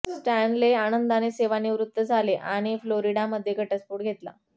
Stanley आनंदाने सेवानिवृत्त झाले आणि फ्लोरिडामध्ये घटस्फोट घेतला